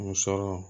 Muso